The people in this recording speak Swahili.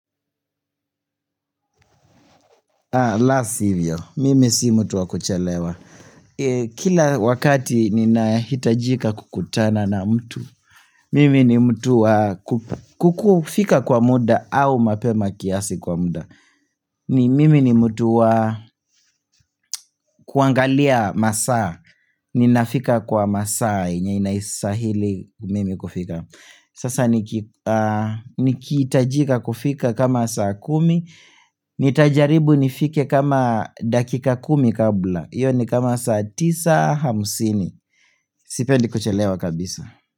La sivyo. Mimi si mtu wa kuchelewa. Kila wakati ninahitajika kukutana na mtu. Mimi ni mtu wakupa. Kufika kwa muda au mapema kiasi kwa muda. Mimi ni mtu wa kuangalia masaa. Ninafika kwa masaa yenye inastahili mimi kufika. Sasa nikihitajika kufika kama saa kumi Nitajaribu nifike kama dakika kumi kabla Iyo ni kama saa tisa hamsini Sipendi kuchelewa kabisa.